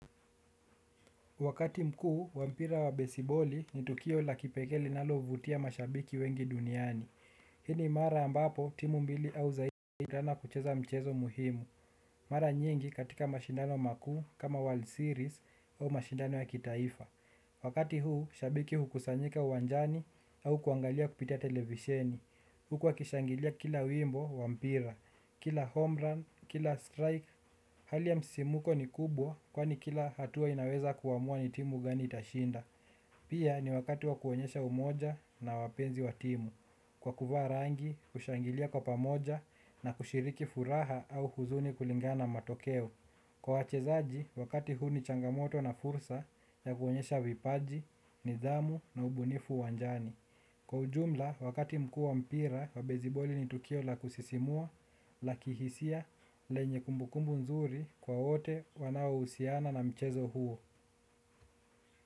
Wakati mkuu, wa mpira wa besiboli ni tukio la kipekee linalovutia mashabiki wengi duniani. Hii ni mara ambapo, timu mbili au zaidi, hukutana kucheza mchezo muhimu. Mara nyingi katika mashindano makuu kama World of Series au mashindano ya kitaifa. Wakati huu, shabiki hukusanyika uwanjani au kuangalia kupitia televisheni. Huku wakishangilia kila wimbo, wa mpira, kila homerun, kila strike. Hali ya msisimuko ni kubwa kwani kila hatua inaweza kuamua ni timu gani itashinda. Pia ni wakati wa kuonyesha umoja na wapenzi wa timu. Kwa kuvaa rangi, kushangilia kwa pamoja na kushiriki furaha au huzuni kulingana na matokeo. Kwa wachezaji, wakati huu ni changamoto na fursa ya kuonyesha vipaji, nidhamu na ubunifu uwanjani. Kwa ujumla, wakati mkuu wa mpira wa beziboli ni tukio la kusisimua, la kihisia, lenye kumbukumbu nzuri kwa wote wanaohusiana na mchezo huo.